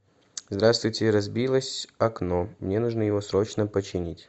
здравствуйте разбилось окно мне нужно его срочно починить